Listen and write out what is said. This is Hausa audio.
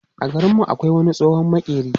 A garin mu akwai wani tsohon maƙeri.